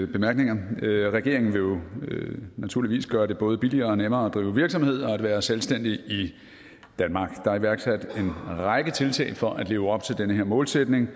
bemærkninger regeringen vil naturligvis gøre det både billigere og nemmere at drive virksomhed og være selvstændig i danmark der er iværksat en række tiltag for at leve op til den målsætning